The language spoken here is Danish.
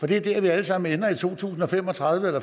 det er der vi alle sammen ender i to tusind og fem og tredive eller